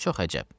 çox əcəb.